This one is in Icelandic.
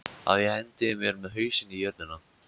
Að ég hendi mér með hausinn í jörðina?